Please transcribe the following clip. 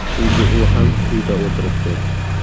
Chunki u ham uyda o‘tiribdi .